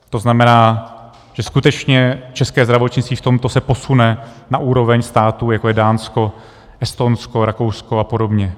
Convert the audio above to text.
To znamená, že skutečně české zdravotnictví se v tomto posune na úroveň států, jako je Dánsko, Estonsko, Rakousko a podobně.